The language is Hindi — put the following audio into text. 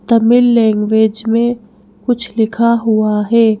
तमिल लैंग्वेज में कुछ लिखा हुआ है ।